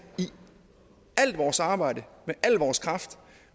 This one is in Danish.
i alt vores arbejde med al vores kraft